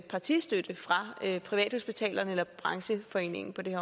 partistøtte fra privathospitalerne eller brancheforeningen på det